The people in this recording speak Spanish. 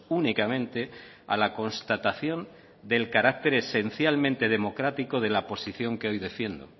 únicamente a la constatación del carácter esencialmente democrático de la posición que hoy defiendo